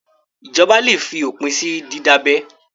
Ìjọba le fi òpin sí dídábẹ.